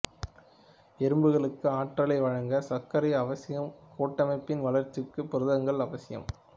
எறும்புகளுக்கு ஆற்றலை வழங்கச் சர்க்கரைகள் அவசியம் கூட்டமைப்பின் வளர்ச்சிக்குப் புரதங்கள் அவசியம்